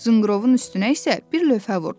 Zınqrovun üstünə isə bir lövhə vurdu.